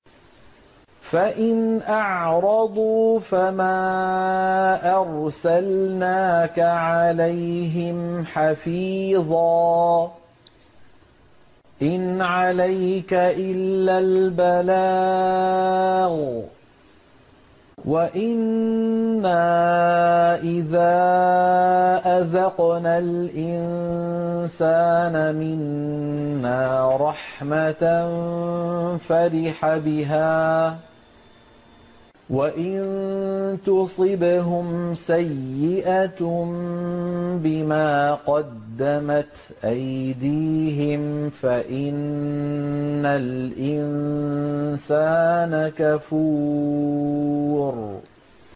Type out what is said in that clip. فَإِنْ أَعْرَضُوا فَمَا أَرْسَلْنَاكَ عَلَيْهِمْ حَفِيظًا ۖ إِنْ عَلَيْكَ إِلَّا الْبَلَاغُ ۗ وَإِنَّا إِذَا أَذَقْنَا الْإِنسَانَ مِنَّا رَحْمَةً فَرِحَ بِهَا ۖ وَإِن تُصِبْهُمْ سَيِّئَةٌ بِمَا قَدَّمَتْ أَيْدِيهِمْ فَإِنَّ الْإِنسَانَ كَفُورٌ